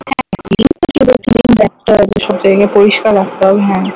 ওইসব জায়গা পরিস্কার রাখতে হবে হ্যাঁ